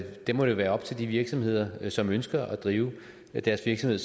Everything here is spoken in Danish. det må jo være op til de virksomheder som ønsker at drive deres virksomhed